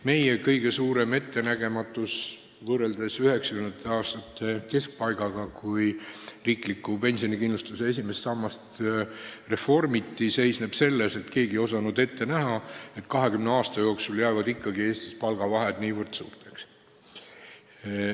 Meie kõige suurem möödavaatamine seisneb selles, et 1990. aastate keskpaigas, kui riikliku pensionikindlustuse esimest sammast reformiti, ei osanud keegi ette näha, et 20 aasta jooksul jäävad Eestis palgavahed nii suureks.